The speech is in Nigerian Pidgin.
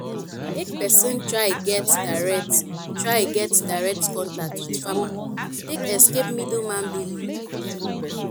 make persin try get direct try get direct contact with farmer take escape middleman billing